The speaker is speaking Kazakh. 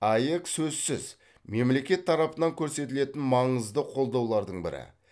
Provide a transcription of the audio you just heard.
аек сөзсіз мемлекет тарапынан көрсетілетін маңызды қолдаулардың бірі